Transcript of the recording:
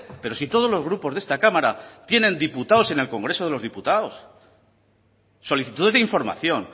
pero si todos los grupos de esta cámara tienen diputados en el congreso de los diputados solicitudes de información